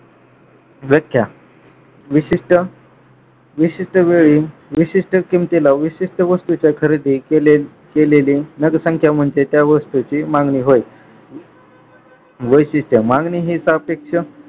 व्याख्या विशिष्ट विशिष्ट वेळी विशिष्ट किमतीला विशिष्ट वास्तूचे खरेदी केले केलेले मतसंख्या म्हणजे त्या वस्तूची मागणी होय. वैशिष्ट मागणी हीच अपेक्षा